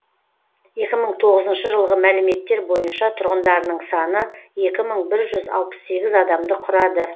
екі мың тоғызыншы жылғы мәліметтер бойынша тұрғындарының саны екі мың бір жүз алпыс сегіз адамды құрады